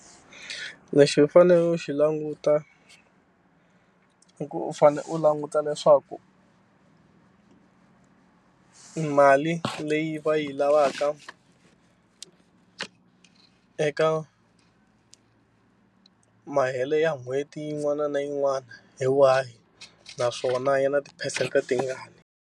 Lexi u faneleke u xi languta i ku u fanele u languta leswaku mali leyi va yi lavaka eka mahele ya n'hweti yin'wana na yin'wana hi wahi naswona ya na tiphesente tingaki.